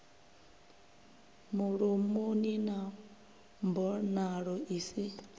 mulomoni na mbonalo i si